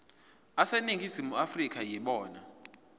aseningizimu afrika yibona